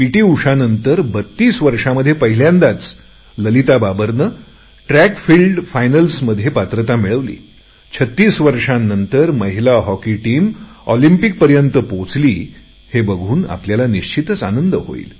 उषानंतर 32 वर्षांमध्ये पहिल्यांदाच ललिता बाबरने ट्रॅक फिल्डच्या अंतिम फेरीसाठी पात्र ठरली 36 वर्षांनंतर महिला हॉकी टीम ऑलिंम्पिकपर्यंत पोहोचली हे बघून आपल्याला निश्चितच आनंद होईल